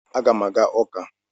Aga m aga ụka.